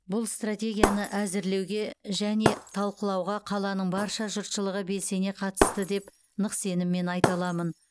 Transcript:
бұл стратегияны әзірлеуге және талқылауға қаланың барша жұртшылығы белсене қатысты деп нық сеніммен айта аламын